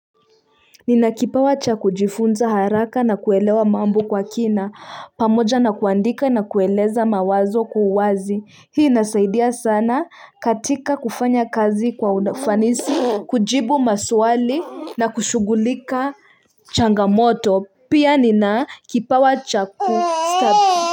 Ninakipawa cha kujifunza haraka na kuelewa mambo kwa kina, pamoja na kuandika na kueleza mawazo kwa uwazi, hii inasaidia sana katika kufanya kazi kwa ufanisi, kujibu maswali na kushughulika changamoto, pia ninakipawa cha kusta.